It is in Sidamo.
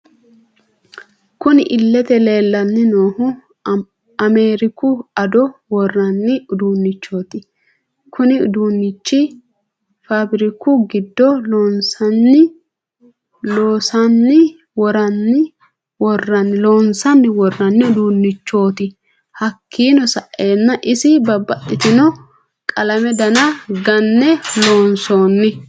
Kunni illete leelani noohu ameriku ado worani uduunichoti konni uduunchi faabiriku giddo loonsani worrani uduunichoti hakiino sa'eena iso babaxitino qalame Dana gane loonsonni.